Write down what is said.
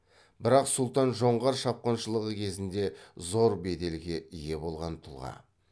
бірақ сұлтан жоңғар шапқыншылығы кезінде зор беделге ие болған тұлға